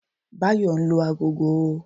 Báyò nlu agogo